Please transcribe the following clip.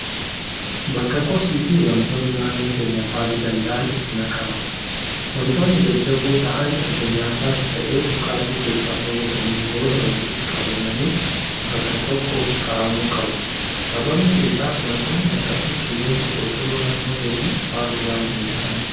Bakka kosii fi wantoonni naannoo keenya faaluu danda'an itti naqaman. Wantoonni jajjaboo ta'an erga nyaatas ta'e dhugaatii keessaa fayyadamnee booda walitti qabamanii bakka tokko kaa'amuu qabu. Sababni isaas wantoonni akkasii qilleensa qulqulluu naannoo keenyaa faaluu waan danda'aniif.